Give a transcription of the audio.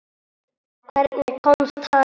Hvernig komst hann inn?